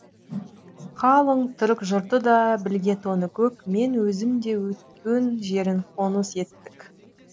қалың түрік жұрты да білге тоныкөк мен өзім де өтукен жерін қоныс еттік